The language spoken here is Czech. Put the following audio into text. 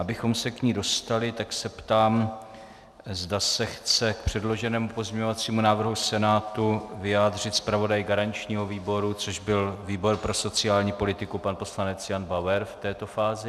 Abychom se k ní dostali, tak se ptám, zda se chce k předloženému pozměňovacímu návrhu Senátu vyjádřit zpravodaj garančního výboru, což byl výbor pro sociální politiku pan poslanec Jan Bauer v této fázi.